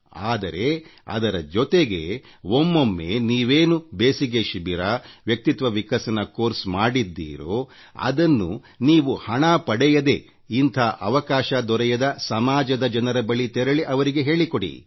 ಆದರೆ ಅದರ ಜೊತೆಗೆ ಒಮ್ಮೊಮ್ಮೆ ನೀವೇನು ಬೇಸಿಗೆ ಶಿಬಿರ ವ್ಯಕ್ತಿತ್ವ ವಿಕಸನ ಕೋರ್ಸ್ ಮಾಡಿದ್ದೀರೋ ಅದನ್ನು ನೀವು ಹಣ ಪಡೆಯದೇ ಇಂಥ ಅವಕಾಶ ದೊರೆಯದ ಸಮಾಜದ ಜನರ ಬಳಿ ತೆರಳಿ ಅವರಿಗೆ ಹೇಳಿಕೊಡಿ